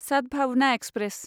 Sadbhavna express